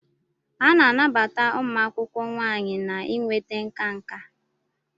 A na-anabata ụmụ akwụkwọ nwanyị na inweta nka nka.